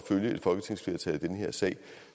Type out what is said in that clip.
følge et folketingsflertal i den her sag